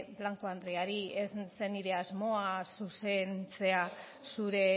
blanco andreari ez zen nire asmoa zuzentzea zure